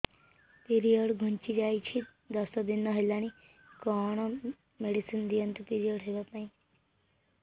period ଘୁଞ୍ଚି ଯାଇଛି ଦଶ ଦିନ ହେଲାଣି କଅଣ ମେଡିସିନ ଦିଅନ୍ତୁ ପିରିଅଡ଼ ହଵା ପାଈଁ